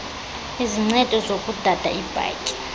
izincedo zokudada iibhatyi